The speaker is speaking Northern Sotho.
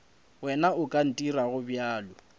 wena o ka ntirago bjalo